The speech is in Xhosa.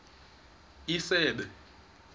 isebe